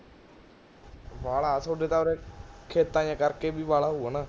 ਬਾਲਾ ਥੋਡੇ ਤਾਂ ਉਰੇ, ਖੇਤਾਂ ਜੇ ਕਰਕੇ ਵੀ ਬਾਲਾ ਹੋਊਗਾ ਨਾ